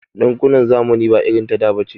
Ɗinkunan zamani ba irin ta da bace.